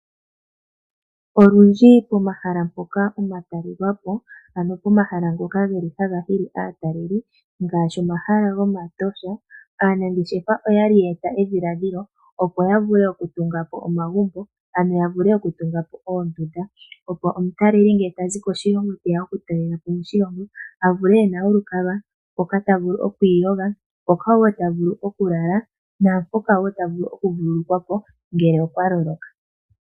Olundji pomahala mpoka omatalelwapo, ano pomahala ngoka geli haga hili aataleli ngaashi omahala gomatosha. Aanangeshefa oyali ya eta edhilaadhilo opo ya ule oku tunga po omagumbo, ano ya vule oku tunga po oondunda. Opo omutaleli ngele tazi koshilongo teya oku talelapo moshilongo, avule ena olukalwa mpoka ta vulu okwiiyoga. Mpoka wo ta vulu oku lala, naa mpoka wo ta vulu oku vululukwa po ngele okwa loloka